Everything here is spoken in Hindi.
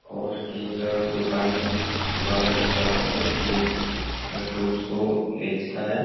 और एक दुकान वाला भी खड़ा है जोकि वो फ्रूट्स को बेचता है ।